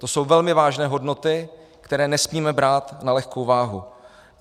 To jsou velmi vážné hodnoty, které nesmíme brát na lehkou váhu.